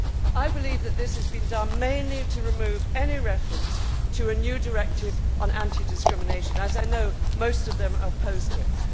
I believe this has been done mainly to remove any reference to a new directive on anti discrimination, as I know most of them are opposed to it.